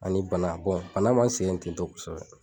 Ani bana bɔn bana ma n sɛgɛn ten tɔ kosɛbɛ